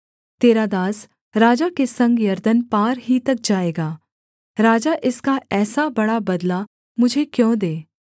तेरा दास राजा के संग यरदन पार ही तक जाएगा राजा इसका ऐसा बड़ा बदला मुझे क्यों दे